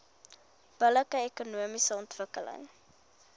billike ekonomiese ontwikkeling